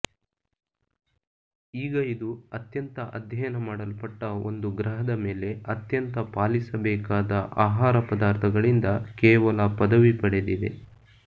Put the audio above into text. ಈಗ ಇದು ಅತ್ಯಂತ ಅಧ್ಯಯನ ಮಾಡಲ್ಪಟ್ಟ ಒಂದು ಗ್ರಹದ ಮೇಲೆ ಅತ್ಯಂತ ಪಾಲಿಸಬೇಕಾದ ಆಹಾರ ಪದಾರ್ಥಗಳಿಂದ ಕೇವಲ ಪದವಿ ಪಡೆದಿದೆ